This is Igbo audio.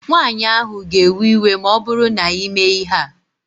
Nwaanyị ahụ ga-ewe iwe ma ọbụrụ na imee ihe a